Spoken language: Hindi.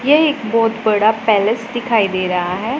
यह एक बहैत बड़ा पैलेस दिखाई दे रहा है।